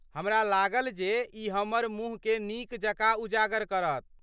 हमरा लागल जे ई हमर मुँहकेँ नीकजकाँ उजागर करत।